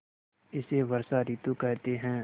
इसे वर्षा ॠतु कहते हैं